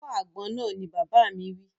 Fọ́ àgbon náà! Ni bàbá mi wí